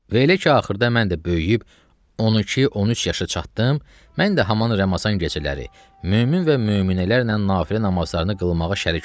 Və elə ki axırda mən də böyüyüb 12, 13 yaşa çatdım, mən də haman Ramazan gecələri mömin və möminələrlə Nafilə namazlarını qılmağa şərik oldum.